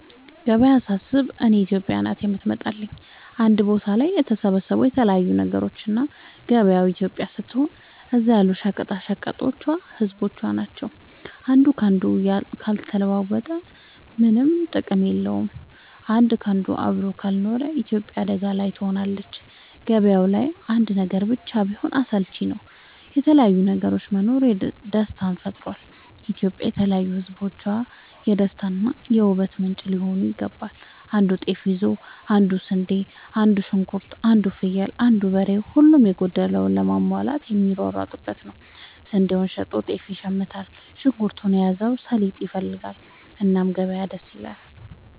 ገበያ ሳስብ እኔ ኢትዮጵያ ናት የምትመጣለኝ አንድ ቦታ ላይ የተሰባሰቡ የተለያዩ ነገሮች እና ገበያው ኢትዮጵያ ስትሆን እዛ ያሉት ሸቀጦች ህዝቦቿ ናቸው። አንዱ ካንዱ ካልተለዋወጠ ምነም ጥቅም እንደሌለው አንድ ካንዱ አብሮ ካልኖረ ኢትዮጵያም አደጋ ላይ ትሆናለች። ገባያው ላይ አንድ ነገር ብቻ ቢሆን አስልቺ ነው የተለያየ ነገር መኖሩ ደስታን ይፈጥራል። ኢትዮጵያም የተለያዩ ህዝቦቿ የደስታ እና የ ውበት ምንጯ ሊሆን ይገባል። አንዱ ጤፍ ይዞ አንዱ ስንዴ አንዱ ሽንኩርት አንዱ ፍየል አንዱ በሬ ሁሉም የጎደለውን ለመሙላት የሚሯሯጡበት ነው። ስንዴውን ሸጦ ጤፍ ይሽምታል። ሽንኩርት የያዘው ሰሊጥ ይፈልጋል። እና ገበያ ደስ ይላል።